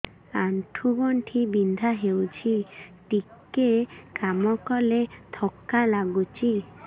ଆଣ୍ଠୁ ଗଣ୍ଠି ବିନ୍ଧା ହେଉଛି ଟିକେ କାମ କଲେ ଥକ୍କା ଲାଗୁଚି